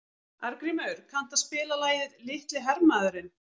Arngrímur, kanntu að spila lagið „Litli hermaðurinn“?